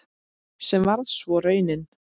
Sem varð svo raunin.